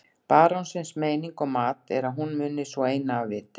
Barónsins meining og mat er að hún muni sú eina af viti.